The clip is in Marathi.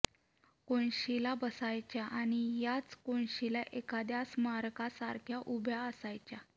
कोनशिला बसायच्या आणि याच कोनशिला एखाद्या स्मारकासारख्या उभ्या असायच्या